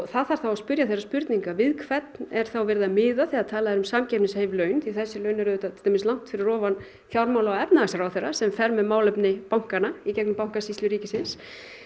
það þarf þá að spyrja spurninga við hvern er þá verið að miða þegar talað er um samkeppnishæf laun því þessi laun eru til dæmis langt fyrir ofan fjármála og efnahagsráðherra sem fer með málefni bankanna í gegnum bankasýslu ríkisins